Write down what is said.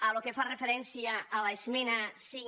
pel que fa referència a l’esmena cinc